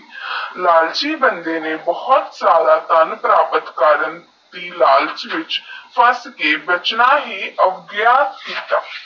ਲਾਲਚੀ ਬੰਦੇ ਨੇਈ ਭੂਤ ਸਾਰਾ ਧਨ ਪ੍ਰਾਪਤ ਕਰਨ ਦੀ ਲਾਲਚ ਵਿਚ ਫਸ ਕੇ ਬਚਨਾ ਹੀ